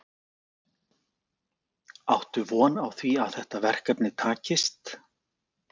Áttu von á því að þetta verkefni takist?